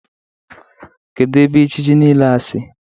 Kedụ ebe ejiji niile a sị?